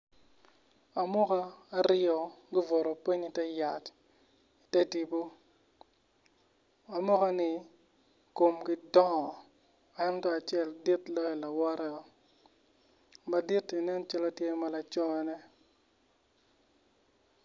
Amuka aryo gubuto piny ite yat ite tipo amukani komgi dongo ento acel dit loyo lawoteo madit-ti nen calo tye ma lacone.